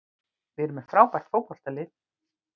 Við erum með frábært fótboltalið.